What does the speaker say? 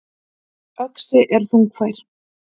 Öxi er þungfær.